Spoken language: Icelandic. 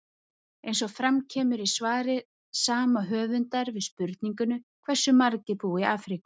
Eins og fram kemur í svari sama höfundar við spurningunni Hversu margir búa í Afríku?